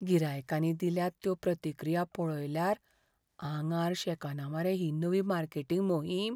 गिरायकांनी दिल्यात त्यो प्रतिक्रिया पळयल्यार आंगार शेकना मरे ही नवी मार्केटिंग मोहीम?